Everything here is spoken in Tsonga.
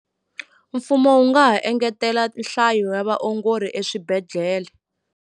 Mfumo wu nga ha engetela nhlayo ya vaongori eswibedhlele.